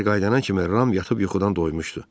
Kiber qayıdan kimi Ram yatıb yuxudan doymuşdu.